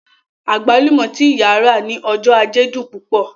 Agbalumo tí ìyá rà ní ọjọ́ ajé dùn púpọ̀